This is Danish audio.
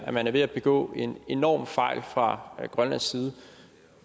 at man er ved at begå en enorm fejl fra grønlandsk side